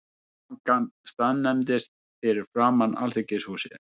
Skrúðgangan staðnæmdist fyrir framan Alþingishúsið.